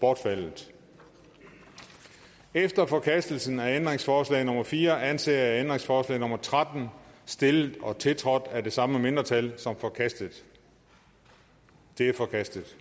bortfaldet efter forkastelsen af ændringsforslag nummer fire anser jeg ændringsforslag nummer tretten stillet og tiltrådt af de samme mindretal som forkastet det er forkastet